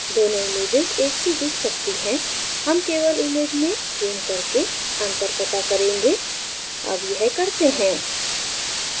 दोनों images एक सी दिख सकती हैं हम केवल image में ज़ूम करके अंतर पता करेंगे अब यह करते हैं